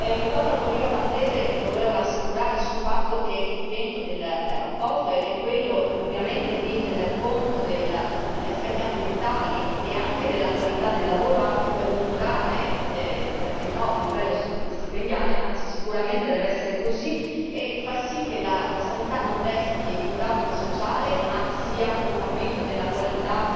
Riguardo al collega maltese, lo volevo rassicurare sul fatto che l'intento della relazione è indubbiamente quello di tener conto degli aspetti ambientali e anche della qualità del lavoro, anche per migliorare, perché no, il livello stipendiale, anzi sicuramente deve essere così, e far sì che la sanità non desti un dumping sociale, ma sia un aumento della qualità